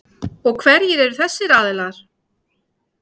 Sindri Sindrason: Og hverjir eru þessir aðilar?